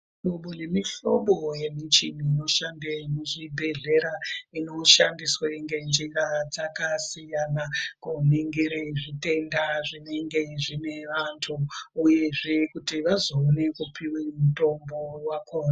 Mihlobo nemihlobo yemichini inoshande muzvibhehlera inoshandiswa ngenjira dzakasiyana kuningire zvitenda zvinenge zvine vantu uyezve kuti vazowone kupuwa mutombo wakona.